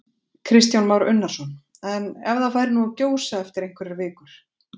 Kristján Már Unnarsson: En ef það færi nú að gjósa eftir einhverjar vikur?